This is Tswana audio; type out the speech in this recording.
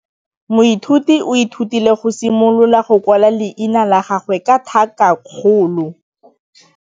Moithuti o ithutile go simolola go kwala leina la gagwe ka tlhakakgolo.